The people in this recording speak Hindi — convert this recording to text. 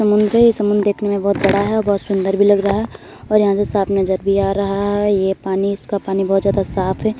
समुंदर है। ये समुंदर देखने में बहोत बड़ा है। बहोत सुंदर भी लग रहा है और यहाँ से साफ नज़र भी आ रहा है। ये पानी इसका पानी बहोत ज्यादा साफ है।